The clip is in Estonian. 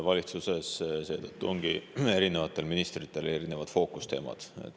Valitsuses seetõttu ongi erinevatel ministritel erinevad fookusteemad.